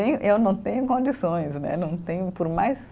E eu não tenho condições, né, não tenho, por mais